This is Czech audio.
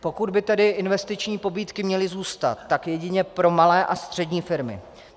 Pokud by tedy investiční pobídky měly zůstat, tak jedině pro malé a střední firmy.